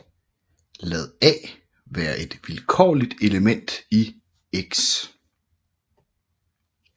Lad a være et vilkårligt element i X